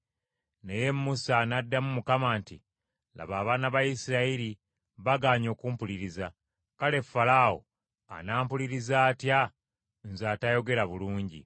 Naye Musa n’addamu Mukama nti, “Laba, abaana ba Isirayiri bagaanyi okumpuliriza, kale Falaawo anampuliriza atya nze atayogera bulungi?”